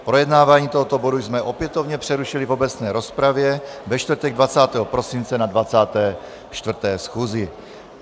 Projednávání tohoto bodu jsme opětovně přerušili v obecné rozpravě ve čtvrtek 20. prosince na 24. schůzi.